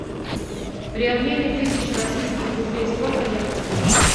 при обмене тысяч российских рублей сколько я получу